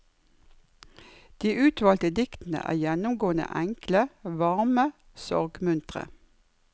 De utvalgte diktene er gjennomgående enkle, varme, sorgmuntre.